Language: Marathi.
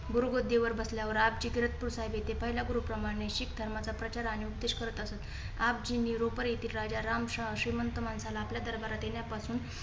गुरु गददीवर बसल्यावर आपजी किरतपूर येथे पहिले गुरू प्रमाणे शीख धर्माचा प्रचार आणि उपदेश करत असत. आपजीनी रोपर येथील राजाराम श्रीमंत माणसाला आपल्या दरबारात येण्यापासून